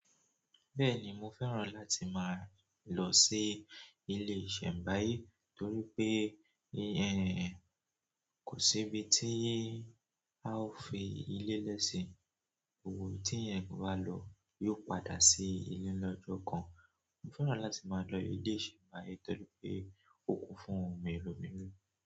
Bẹ́ẹ̀ni, mo fẹ́ràn láti máa lọ sí ilé ìṣẹ̀mbáyé torí pé kò sí ibi tí a ó fi ilé lẹ́ sì, gbó gbó ìbí tí ẹ̀yán bá lọ yóò padà sí ilé lọ́jọ́ kan. Mo fẹ́ràn láti máa lọ ilé ìṣẹ̀mbáyé torí pé ó kún fún òun mèremère.